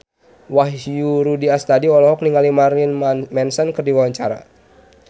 Wahyu Rudi Astadi olohok ningali Marilyn Manson keur diwawancara